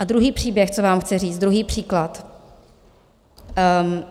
A druhý příběh, co vám chci říct, druhý příklad.